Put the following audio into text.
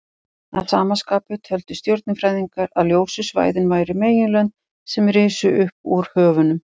Að sama skapi töldu stjörnufræðingarnir að ljósu svæðin væru meginlönd sem risu upp úr höfunum.